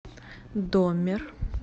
доммер